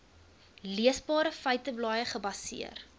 leesbare feiteblaaie gebaseer